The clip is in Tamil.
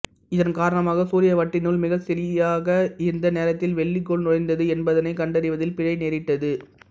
இதன் காரணமாக சூரிய வட்டினுள் மிகச் சரியாக எந்த நேரத்தில் வெள்ளிக்கோள் நுழைந்தது என்பதனைக் கண்டறிவதில் பிழை நேரிட்டது